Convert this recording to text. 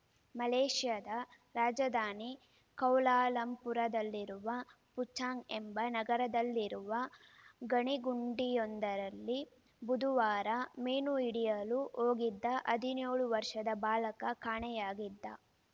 ಮಲೇಷ್ಯಾದ ರಾಜಧಾನಿ ಕೌಲಾಲಂಪುರದಲ್ಲಿರುವ ಪುಚಾಂಗ್‌ ಎಂಬ ನಗರದಲ್ಲಿರುವ ಗಣಿ ಗುಂಡಿಯೊಂದರಲ್ಲಿ ಬುಧುವಾರ ಮೀನು ಹಿಡಿಯಲು ಹೋಗಿದ್ದ ಹದಿನೇಳು ವರ್ಷದ ಬಾಲಕ ಕಾಣೆಯಾಗಿದ್ದ